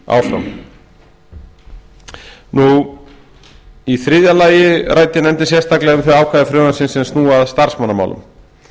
á suðurnesjum í þriðja lagi ræddi nefndin sérstaklega um þau ákvæði frumvarpsins sem snúa að starfsmannamálum